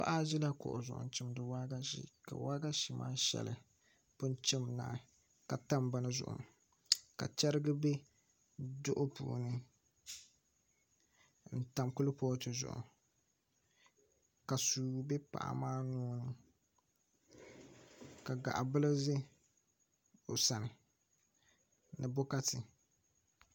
Paɣa ʒila kuɣu zuɣu n chimdi waagashe ka waagashe maa shɛli pun chim naai ka tam bini zuɣu ka chɛrigi bɛ duɣu puuni n tam kuripooti zuɣu ka suu bɛ paɣa maa nuuni ka gaɣa bili ʒɛ o sani ni bokati